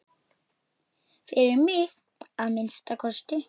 Fyrir mig, að minnsta kosti.